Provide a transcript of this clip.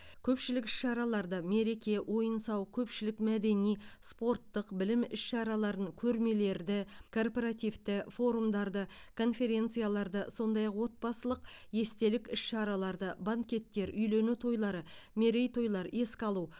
көпшілік іс шараларды мереке ойын сауық көпшілік мәдени спорттық білім іс шараларын көрмелерді корпоративті форумдарды конференцияларды сондай ақ отбасылық естелік іс шараларды банкеттер үйлену тойлары мерейтойлар еске алу